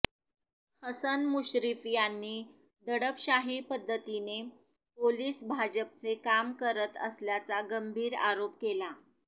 हसन मुश्रीफ यांनी दडपशाही पद्धतीने पोलिस भाजपचे काम करत असल्याचा गंभीर आरोप केला